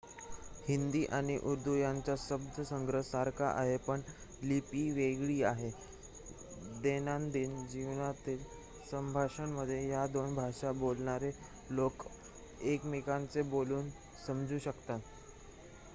हिंदी आणि उर्दू यांचा शब्दसंग्रह सारखा आहे पण लिपी वेगळी आहे दैनंदिन जीवनातील संभाषणांमध्ये या दोन भाषा बोलणारे लोक एकमेकांचे बोलणे समजू शकतात